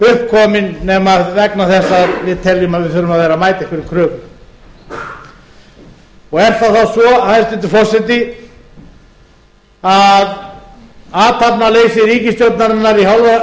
komin nema vegna þess að við teljum að við þurfum að vera að mæta einhverjum kröfum er það þá svo hæstvirtur forseti að athafnaleysi ríkisstjórnarinnar